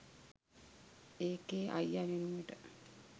ඒකෙ අයිය වෙනුවට